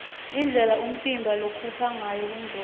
indlela umtimba lokhupha ngayo kuncola